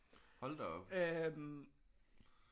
Hold da op